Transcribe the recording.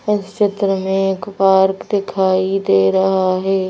इस क्षेत्र में एक पार्क दिखाई दे रहा है।